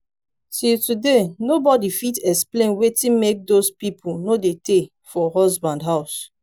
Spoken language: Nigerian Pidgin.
till today nobody fit explain wetin make doz people no dey tay for husband house